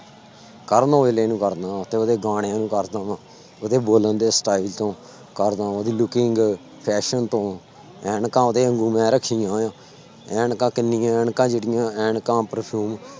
ਕਰਨ ਔਜਲੇ ਨੂੰ ਕਰਦਾਂ, ਤੇ ਉਹਦੇ ਗਾਣੇ ਨੂੰ ਕਰਦਾਂ ਵਾਂ, ਉਹਦੇ ਬੋਲਣ ਦੇ style ਤੋਂ ਕਰਦਾਂ ਉਹਦੀ looking fashion ਤੋਂ, ਐਨਕਾਂ ਉਹਦੇ ਵਾਂਗੂ ਮੈਂ ਰੱਖੀਆਂ ਹੋਈਆਂ, ਐਨਕਾਂ ਕਿੰਨੀਆਂ ਐਨਕਾਂ ਜਿਹੜੀਆਂ ਐਨਕਾਂ perfume